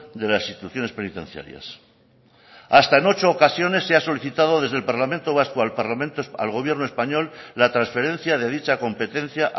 de las instituciones penitenciarias hasta en ocho ocasiones se ha solicitado desde el parlamento vasco al gobierno español la transferencia de dicha competencia